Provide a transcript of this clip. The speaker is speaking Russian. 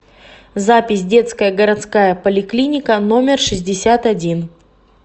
запись детская городская поликлиника номер шестьдесят один